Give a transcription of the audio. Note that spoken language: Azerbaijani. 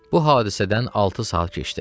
Bu hadisədən altı saat keçdi.